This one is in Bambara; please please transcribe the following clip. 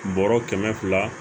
Bɔrɔ kɛmɛ fila